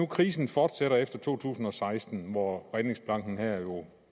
krisen fortsætter efter to tusind og seksten hvor redningsplanken her jo